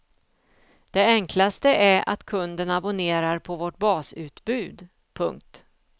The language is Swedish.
Det enklaste är att kunden abonnerar på vårt basutbud. punkt